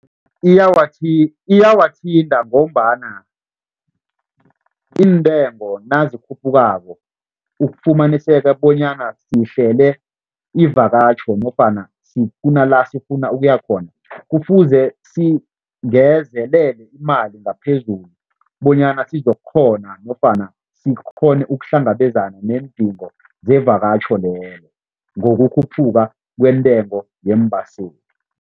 Iyawathinta ngombana iintengo nazikhuphukako ufumaniseka bonyana sihlele ivakatjho nofana sifuna la sifuna ukuya khona, kufuze singezelele imali ngaphezulu bonyana sizokukghona nofana sikghone ukuhlangabezana neendingo zevakatjho lelo ngokukhuphuka kwentengo yeembaseli.